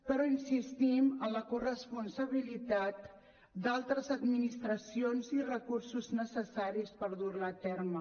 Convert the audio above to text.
però insistim en la corresponsabilitat d’altres administracions i recursos necessaris per dur la a terme